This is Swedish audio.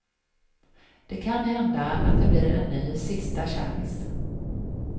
Det kan hända att det blir en ny sista chans.